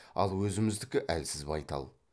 ал өзіміздікі әлсіз байтал